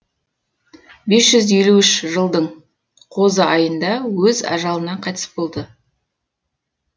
бес жүз елу үш жылдың қозы айында өз ажалынан қайтыс болды